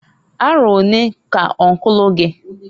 Arọ onee k'ọnkụlụ gi?